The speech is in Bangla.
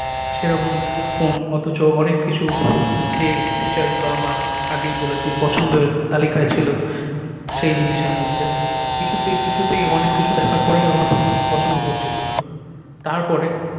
সে রকম ফোন অতচ অনেক কিছু যে feature গুলো আমার আগেই বলেছি পছন্দের তালিকায় ছিলো সেই জিনিস এর মধ্যে কিছুতেই কিছুতেই অনেক কিছু দেখার পরেই আমার পছন্দ হচ্ছিলো না তার পরে